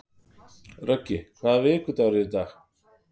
Röggi, hvaða vikudagur er í dag?